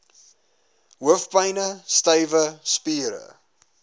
hoofpyne stywe spiere